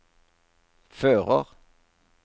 fører